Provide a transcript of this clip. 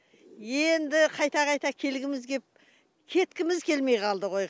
енді қайта қайта келгіміз кеп кеткіміз келмей қалды ғой